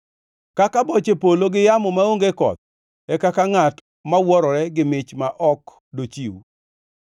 Kaka boche polo gi yamo maonge koth, e kaka ngʼat mawuorore gi mich ma ok dochiw.